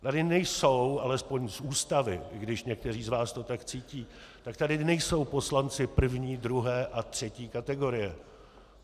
Tady nejsou, alespoň z Ústavy, i když někteří z vás to tak cítí, tak tady nejsou poslanci první, druhé a třetí kategorie.